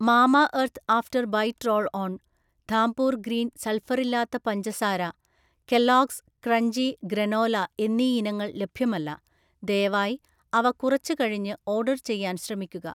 Mamaearth after bite roll on, Dhampur green സൾഫറില്ലാത്ത പഞ്ചസാര, Kellogg's crunchy granola എന്നീ ഇനങ്ങൾ ലഭ്യമല്ല, ദയവായി അവ കുറച്ചു കഴിഞ്ഞു ഓർഡർ ചെയ്യാൻ ശ്രമിക്കുക